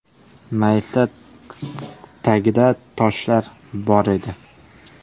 Maysa tagida toshlar bor edi.